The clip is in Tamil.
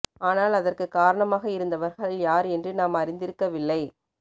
ஆனால் அதற்கு காரணமாக இருந்தவர்கள் யார் என்று நாம் அறிந்திருக்கவில்லை